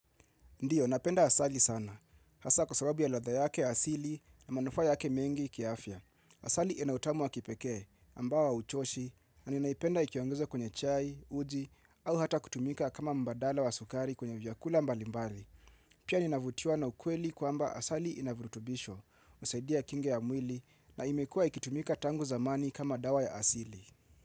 Ndio, napenda asali sana. Hasa kwa sababu ya ladha yake asili na manufa yake mengi kiafya. Asali inautamu wa kipeke ambao hauchoshi na ninaipenda ikiongeza kwenye chai, uji au hata kutumika kama mbadala wa sukari kwenye vyakula mbalimbai. Pia ninavutiwa na ukweli kwamba asali inavutubisho, usaidia kinge ya mwili na imekua ikitumika tangu zamani kama dawa ya asili.